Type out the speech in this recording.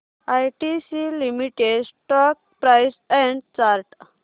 ITC limited stock price and chart